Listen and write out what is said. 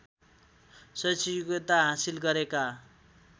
शैक्षिक योग्यता हासिल गरेका